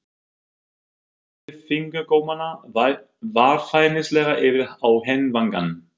Hún færði fingurgómana varfærnislega yfir á hinn vangann.